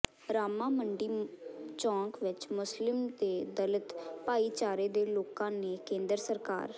ਰਾਮਾ ਮੰਡੀ ਚੌਕ ਵਿਚ ਮੁਸਲਿਮ ਤੇ ਦਲਿਤ ਭਾਈਚਾਰੇ ਦੇ ਲੋਕਾਂ ਨੇ ਕੇਂਦਰ ਸਰਕਾਰ